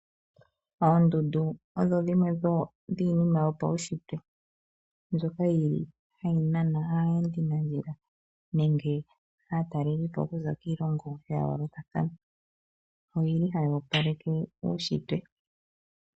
Oondundu odho dhimwe dho dhiinima yopaushitwe, mbyoka yi li hayi nana aayendi nandjila, nenge aatalelipo okuza kiilongo ya yoolokathana, oyi li haya opaleke uushitwe.